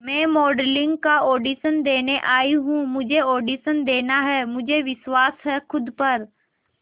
मैं मॉडलिंग का ऑडिशन देने आई हूं मुझे ऑडिशन देना है मुझे विश्वास है खुद पर